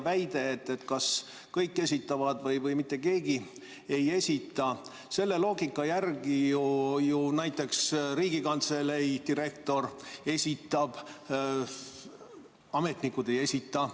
Väide, et kas kõik esitavad või mitte keegi ei esita – selle loogika järgi ju näiteks Riigikantselei direktor esitab, ametnikud ei esita.